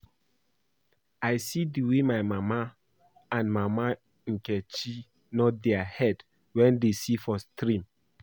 I see the way my mama and mama Nkechi nod their head wen dey see for stream